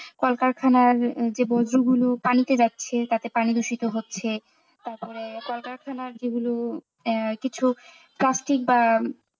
কলকারখানার যে বজ্রগুলো পানিতে যাচ্ছে তাতেই পানি দুষিত হচ্ছে তারপরে কলকারখানার যেগুলো আহ কিছু plastic বা,